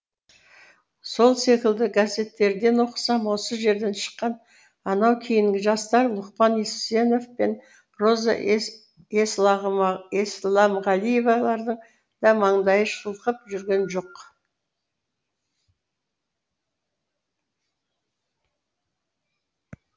сол секілді газеттерден оқысам осы жерден шыққан анау кейінгі жастар лұқпан есенов пен роза есләмғалиевалардың да маңдайы шылқып жүрген жоқ